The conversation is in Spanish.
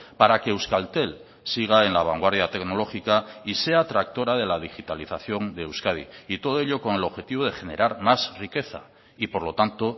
para que euskaltel siga en la vanguardia tecnológica y sea tractora de la digitalización de euskadi y todo ello con el objetivo de generar más riqueza y por lo tanto